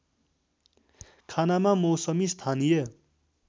खानामा मौसमी स्थानीय